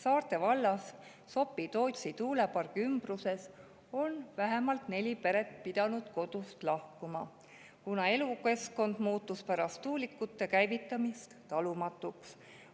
Saarde vallas Sopi-Tootsi tuulepargi ümbruses on vähemalt neli peret pidanud kodust lahkuma, kuna elukeskkond muutus pärast tuulikute käivitamist talumatuks.